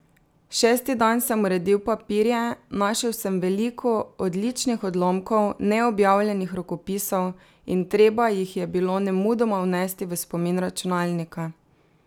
Šesti dan sem uredil papirje, našel sem veliko odličnih odlomkov, neobjavljenih rokopisov, in treba jih je bilo nemudoma vnesti v spomin računalnika.